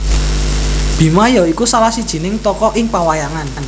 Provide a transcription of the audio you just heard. Bima ya iku salah sijining tokoh ing pawayangan